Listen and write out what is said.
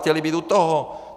Chtěli být u toho.